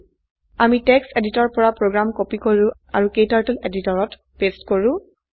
আমি text editor পৰা program copy কৰো আৰু ক্টাৰ্টল এডিটৰত পেস্ট কৰো